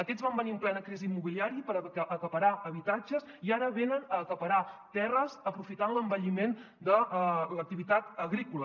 aquests van venir en plena crisi immobiliària per acaparar habitatges i ara venen a acaparar terres aprofitant l’envelliment de l’activitat agrícola